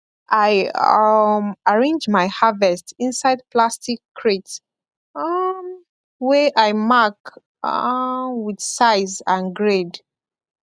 i um arrange my harvest inside plastic crate um wey i mark um with size and grade